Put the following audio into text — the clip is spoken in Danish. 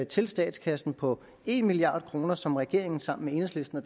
til statskassen på en milliard kr som regeringen sammen med enhedslisten og